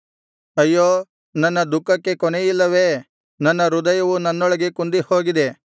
ಅಯ್ಯೋ ನನ್ನ ದುಃಖಕ್ಕೆ ಕೊನೆಯಿಲ್ಲವೇ ನನ್ನ ಹೃದಯವು ನನ್ನೊಳಗೆ ಕುಂದಿಹೋಗಿದೆ